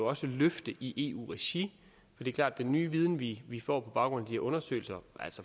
også løfte i eu regi det er klart at den nye viden vi vi får på baggrund af de her undersøgelser